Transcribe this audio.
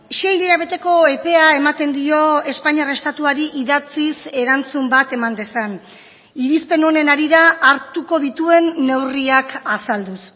sei hilabeteko epea ematen dio espainiar estatuari idatziz erantzun bat eman dezan irizpen honen harira hartuko dituen neurriak azalduz